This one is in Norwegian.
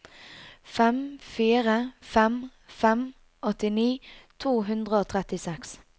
fem fire fem fem åttini to hundre og trettiseks